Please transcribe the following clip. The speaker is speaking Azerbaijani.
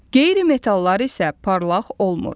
Qeyri-metalllar isə parlaq olmur.